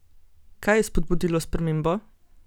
Kaj je spodbudilo spremembo?